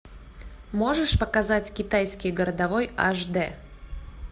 можешь показать китайский городовой аш д